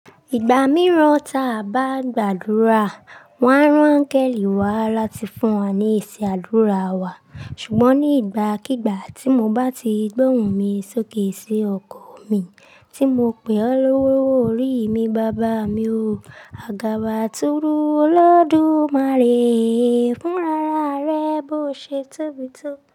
Ìgbà mìíràn ta a bá gbàdúrà, wọ́n á rán Kẹ́lí wá láti fún wa ní ìṣe àdúrà wa. Ṣùgbọ́n ní ìgbà kígba tí mo bá ti gbóhun mi sókè sí ọkọ mi tí mo pè ọ́ lolowo orí mi, bàbá mi o. Àgàbàtúrú Olódùmarè fún rara rẹ bó ṣe tobito.